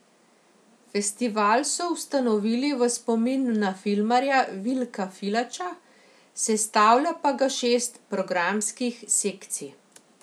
Festival so ustanovili v spomin na filmarja Vilka Filača, sestavlja pa ga šest programskih sekcij.